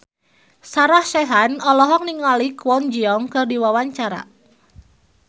Sarah Sechan olohok ningali Kwon Ji Yong keur diwawancara